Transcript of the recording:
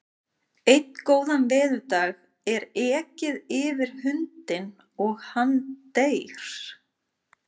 Einn góðan veðurdag er ekið yfir hundinn og hann deyr.